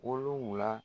Wolonfila